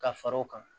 Ka fara o kan